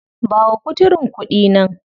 Ba wa kuturun kuɗi nan.